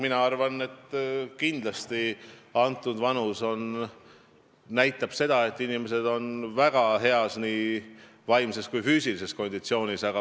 Mina arvan, et see vanus näitab seda, et inimesed on väga heas nii vaimses kui ka füüsilises konditsioonis.